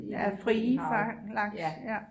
Ja frie fang laks ja